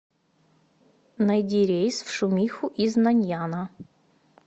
найди рейс в шумиху из наньяна